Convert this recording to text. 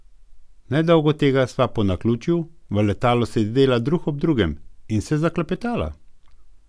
Nedolgo tega sva po naključju v letalu sedela drug ob drugem in se zaklepetala.